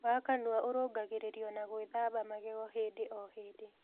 Wa kanũa ũrũngagĩririo na gwĩthamba magego hĩndĩ o hĩndĩ